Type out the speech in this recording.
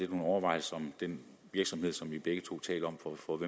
nogle overvejelser om den virksomhed som vi begge to taler om og for